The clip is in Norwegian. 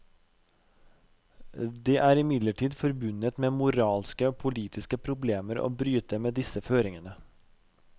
Det er imidlertid forbundet med moralske og politiske problemer å bryte med disse føringene.